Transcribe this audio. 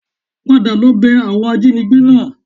Padà lọ bẹ àwọn ajínigbé náà